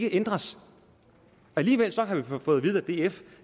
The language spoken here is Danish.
ændres alligevel har vi fået at vide af df